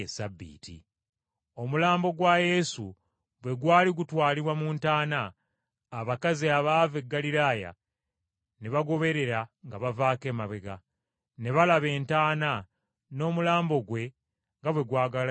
Omulambo gwa Yesu bwe gwali gutwalibwa mu ntaana, abakazi abaava e Ggaliraaya ne bagoberera nga bavaako emabega, ne balaba entaana n’omulambo gwe nga bwe gwagalamizibwamu.